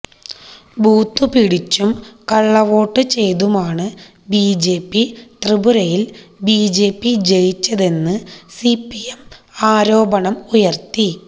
ബൂത്തുപിടിച്ചും കള്ളവോട്ടുചെയ്തുമാണ് ബിജെപി ത്രിപുരയില് ബിജെപി ജയിച്ചതെന്ന് സിപിഎം ആരോപണം ഉയര്ത്തി